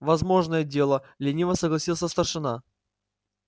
возможное дело лениво согласился старшина